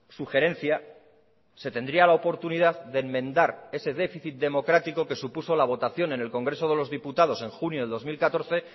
sugerencia se tendría la oportunidad de enmendar ese déficit democrático que supuso la votación en el congreso de los diputados en junio de dos mil catorce